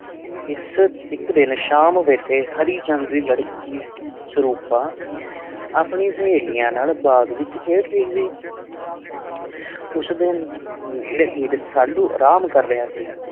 ਇਸ ਇੱਕ ਦਿਨ ਸ਼ਾਮ ਵੇਲੇ ਹਰੀ ਚੰਦ ਦੀ ਲੜਕੀ ਸਰੂਪਾਂ ਆਪਣੀ ਸਹੇਲੀਆਂ ਨਾਲ ਬਾਗ਼ ਵਿੱਚ ਖੇਡ ਰਹੀ ਸੀ ਉਸਦੇ ਨੇੜੇ ਹੀ ਰਸਾਲੂ ਅਰਾਮ ਕਰ ਰਿਹਾ ਸੀ।